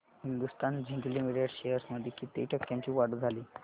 Hindustan zinc limited shares मध्ये किती टक्क्यांची वाढ झाली